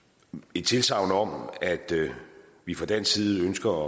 et tilsagn om at vi fra dansk side ønsker